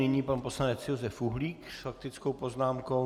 Nyní pan poslanec Josef Uhlík s faktickou poznámkou.